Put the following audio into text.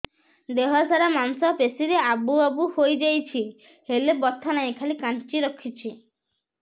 ଦେହ ସାରା ମାଂସ ପେଷି ରେ ଆବୁ ଆବୁ ହୋଇଯାଇଛି ହେଲେ ବଥା ନାହିଁ ଖାଲି କାଞ୍ଚି ରଖୁଛି